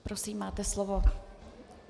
Prosím, máte slovo.